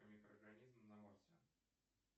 микроорганизм на марсе